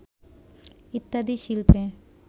ইত্যাদি শিল্পে